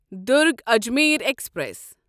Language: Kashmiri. دٚرگ اجمیر ایکسپریس